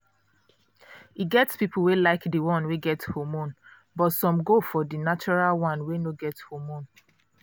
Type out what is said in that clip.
e get people wey like the one wey get hormone but some go for the natural one wey no get hormone.